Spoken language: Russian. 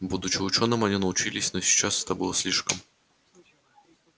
будучи учёными они научились но сейчас это было слишком